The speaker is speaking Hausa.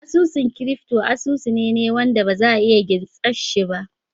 Asusun crypto asusu ne ne wanda ba za a taba iya gintsar shi ba